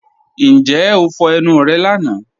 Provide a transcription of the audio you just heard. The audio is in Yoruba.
Ǹjẹ́ o fọ́ ẹnu rẹ́ lána?